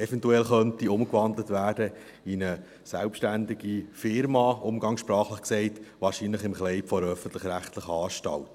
eventuell umgewandelt werden könnte in eine selbstständige Firma – umgangssprachlich gesagt –, wahrscheinlich im Kleid einer öffentlich-rechtlichen Anstalt.